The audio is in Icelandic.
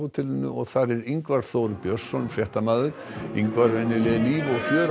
þar er Ingvar Þór Björnsson fréttamaður Ingvar er líf og fjör